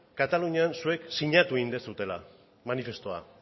katalunian zuek sinatu egin duzuela manifestua